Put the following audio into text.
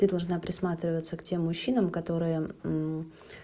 ты должна присматриваться к тем мужчинам которые